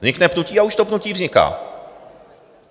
Vznikne pnutí a už to pnutí vzniká.